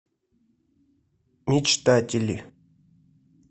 мечтатели